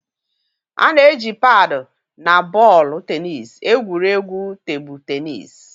A na-eji paadu na bọọlụ tenis egwuri egwu tebụl tenis.